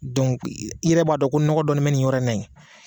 i yɛrɛ b'a dɔn ko nɔgɔ dɔɔni bɛ nin yɔrɔ in na ye.